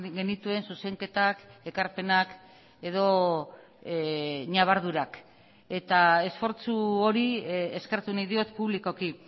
genituen zuzenketak ekarpenak edo ñabardurak eta esfortzu hori eskertu nahi diot publikoki